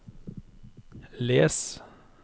les